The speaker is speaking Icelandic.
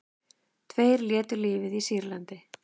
Tveir létu lífið í Sýrlandi